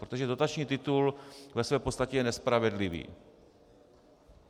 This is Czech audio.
Protože dotační titul ve své podstatě je nespravedlivý.